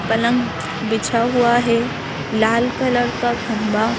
पलंग बिछा हुआ है लाल कलर का खंभा--